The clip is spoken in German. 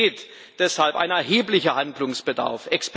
Es besteht deshalb ein erheblicher Handlungsbedarf.